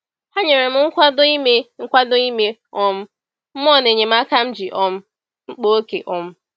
Ha nyere m nkwado ime nkwado ime um mmụọ na enyemaka m ji um mkpa oke. um